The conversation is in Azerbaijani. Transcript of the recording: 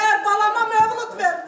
Səhər balama mövlud verildi.